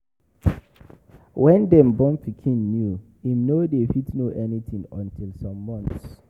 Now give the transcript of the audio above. When dem born pikin new im no dey fit know anything until some months